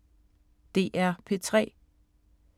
DR P3